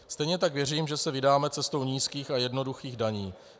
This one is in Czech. Stejně tak věřím, že se vydáme cestou nízkých a jednoduchých daní.